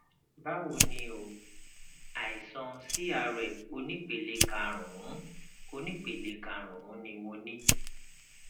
báwo ni o àìsàn crf onípele karùnún onípele karùnún ni mo ní